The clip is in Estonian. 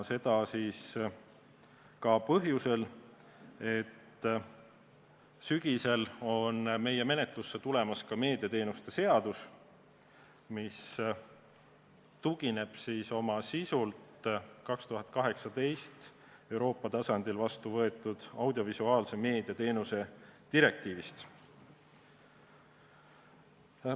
Seda ka põhjusel, et sügisel on meie menetlusse tulemas meediateenuste seadus, mis tugineb oma sisult 2018. aastal Euroopa tasandil vastu võetud audiovisuaalmeedia teenuste direktiivile.